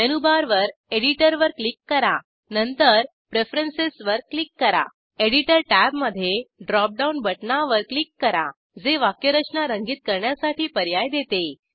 menu बारवर एडीटवर click करा नंतर प्रिफरेंसेसवर क्लिक करा एडीटर टॅबमध्ये ड्रॉपडाऊन बटणावर क्लिक करा जे वाक्यरचना रंगीत करण्यासाठी पर्याय देते